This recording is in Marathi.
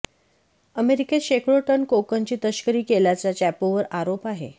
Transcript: अमेरिकेत शेकडो टन कोकेनची तस्करी केल्याचा चॅपोवर आरोप आहे